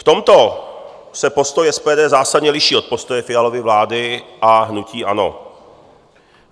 V tomto se postoj SPD zásadně liší od postoje Fialovy vlády a hnutí ANO.